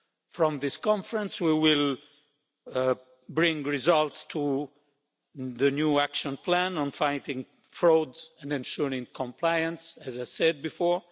From this conference, we will bring results to the new Action Plan on fighting fraud and ensuring compliance, as I said before.